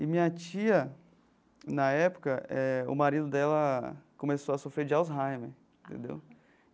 E minha tia, na época eh, o marido dela começou a sofrer de Alzheimer, entendeu?